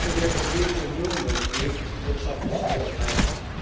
Nicht nur die Europäische Union durchlebt wirtschaftlich schwere Zeiten.